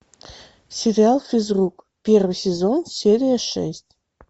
сериал физрук первый сезон серия шесть